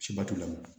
Seba t'u la